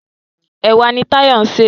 Ẹ̀wà ni Táyọ̀ ń sè.